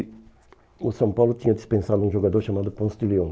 E o São Paulo tinha dispensado um jogador chamado Ponço de Leão.